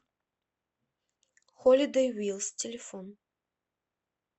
холидэй вилс телефон